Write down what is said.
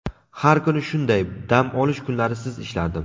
Har kuni shunday: dam olish kunlarisiz ishlardim.